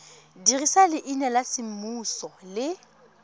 dirisa leina la semmuso le